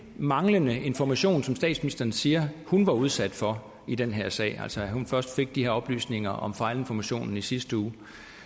manglende information som statsministeren siger hun var udsat for i den her sag altså at hun først fik de her oplysninger om fejlinformationen i sidste uge